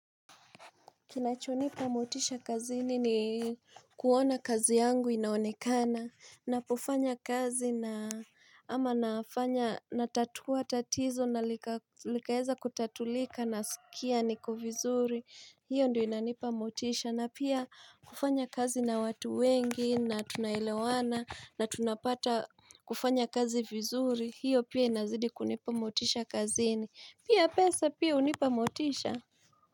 Kinachonipa motisha kazini ni kuona kazi yangu inaonekana Napofanya kazi na ama nafanya natatua tatizo na Likaeza kutatulika nasikia niko vizuri hiyo ndio inanipa motisha na pia kufanya kazi na watu wengi na tunaelewana na tunapata kufanya kazi vizuri hiyo pia inazidi kunipa motisha kazini Pia pesa pia hunipa motisha.